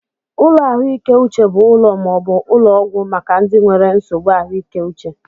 Ụlọ ahụike Uche bu úlò maaobu ụlọ ọgwụ maka ndị nwere nsogbụ ahụike uche.